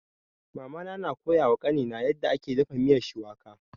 Mama na koya wa kani na yarda ake dafa miyan shuwaka